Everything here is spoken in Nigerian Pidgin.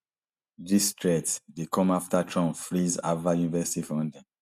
dis threat dey come afta trump freeze harvard university funding